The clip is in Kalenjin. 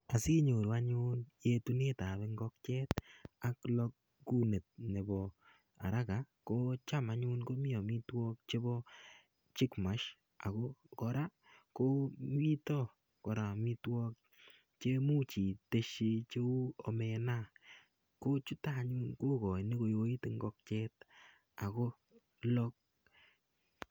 Asinyoru anyun yetunetab ing'okiet ak kolok araka ko cham anyun komii amitwokik chebobchick mash ak ko kora komiten amitwokik chemuch itesyi cheu omena kochuton anyun komuch kowoit ing'okiet ak kolok.